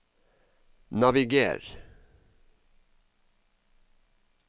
naviger